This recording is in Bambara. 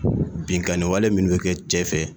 Binkaniwale minnu bɛ kɛ cɛ fɛ